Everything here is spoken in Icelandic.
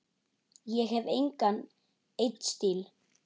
Ég hef engan einn stíl.